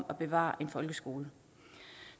at bevare en folkeskole